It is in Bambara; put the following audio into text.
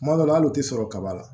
Tuma dɔw la hali u tɛ sɔrɔ kaba la